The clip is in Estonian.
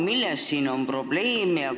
Milles on siin probleem?